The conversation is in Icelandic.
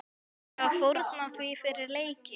Tímirðu að fórna því fyrir leikinn?